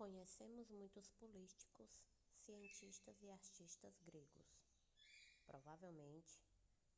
conhecemos muitos políticos cientistas e artistas gregos provavelmente